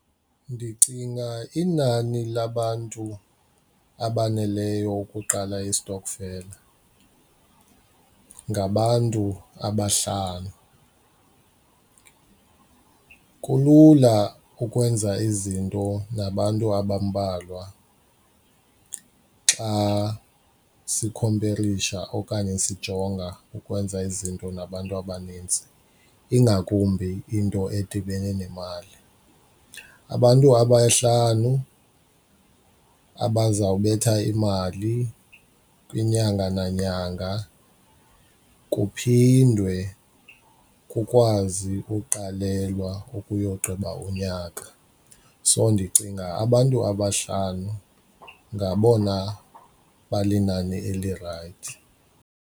Ndicinga inani labantu abaneleyo ukuqala istokfela ngabantu abahlanu. Kulula ukwenza izinto nabantu abambalwa xa sikhomperisha okanye sijonga ukwenza izinto nabantu abanintsi ingakumbi into edibene nemali. Abantu abahlanu abazawubetha imali inyanga nanyanga kuphindwe kukwazi ukuqalelwa ukuyogqiba unyaka. So ndicinga abantu abahlanu ngabona balinani elirayithi.